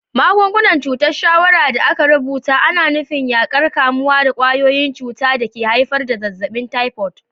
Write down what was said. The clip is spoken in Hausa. Magungunan cutar shawarra da aka rubuta ana nufin yaƙar kamuwa da ƙwayoyin cuta da ke haifar da zazzabin typhoid.